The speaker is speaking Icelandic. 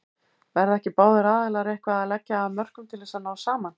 Verða ekki báðir aðilar eitthvað að leggja af mörkum til þess að ná saman?